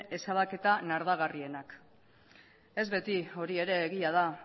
ezabaketa nardagarrienak ez beti hori ere egia da